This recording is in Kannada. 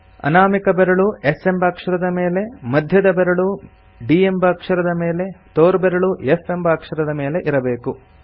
ಅನಾಮಿಕ ಬೆರಳು S ಎಂಬ ಅಕ್ಷರದ ಮೇಲೆ ಮಧ್ಯದ ಬೆರಳು D ಎಂಬ ಅಕ್ಷರದ ಮೇಲೆ ತೋರ್ಬೆರಳು F ಎಂಬ ಅಕ್ಷರದ ಮೇಲೆ ಇರಬೇಕು